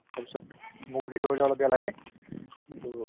তাৰপিছত মোৰো সেইটো কৰিলে অলপ বেয়া লাগে to